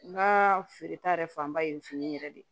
N ka feereta yɛrɛ fanba ye fini yɛrɛ de ye